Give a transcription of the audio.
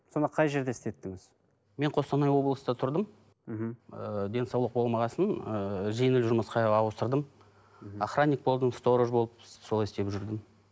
сонда қай жерде істеттіңіз мен қостанай облыста тұрдым мхм ыыы денсаулық болмаған соң ыыы жеңіл жұмысқа ауыстырдым мхм охраник болдым сторож болып солай істеп жүрдім